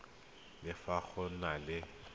le fa go na le